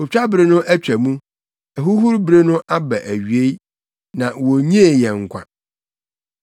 “Otwabere no atwa mu, ahuhuru bere no aba awiei, na wonnnyee yɛn nkwa.”